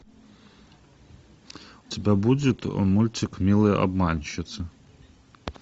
у тебя будет мультик милые обманщицы